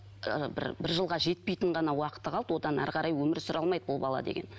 ы бір бір жылға жетпейтін ғана уақыты қалды одан әрі қарай өмір сүре алмайды бұл бала деген